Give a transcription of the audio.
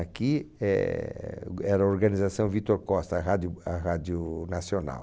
Aqui eh g eh era a organização Vitor Costa, a Rádio a Rádio Nacional.